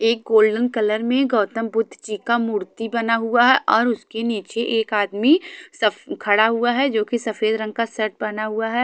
एक golden colour में गौतम बुद्धजी का मूर्ति बना हुआ और उसके निचे एक आदमी स खड़ा हुआ है जो की सफ़ेद रंग का शर्ट पहना हुआ है.